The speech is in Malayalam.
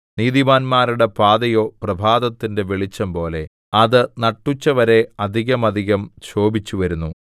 നീതിമാന്മാരുടെ പാതയോ പ്രഭാതത്തിന്റെ വെളിച്ചംപോലെ അത് നട്ടുച്ചവരെ അധികമധികം ശോഭിച്ചുവരുന്നു